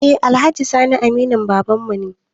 Eh alhaji sani aminin babanmu ne